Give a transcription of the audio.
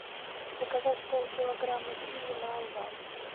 заказать полкилограмма киви на озон